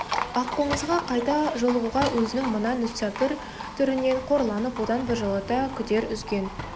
аққозыға қайта жолығуға өзінің мына мүсәпір түрінен қорланып одан біржолата күдер үзген